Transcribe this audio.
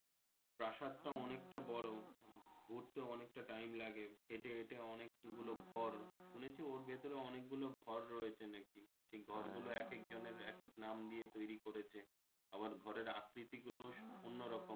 প্রাসাদটাও অনেকটা বড়ো ঘুরতেও অনেকটা Time লাগে এটা ওটা অনেক গুলো ঘর শুনেছি ওর ভেতরে অনেক গুলো ঘর রয়েছে নাকি সেই ঘর গুলো একেক জনের একেক দিয়ে নাম তৌরি করেছে আবার ঘরের আকৃতি গুলো অন্য রকম।